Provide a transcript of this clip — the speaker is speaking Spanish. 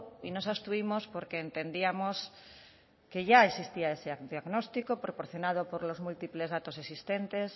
y nos abstuvimos porque entendíamos que ya existía ese diagnóstico proporcionado por los múltiples datos existentes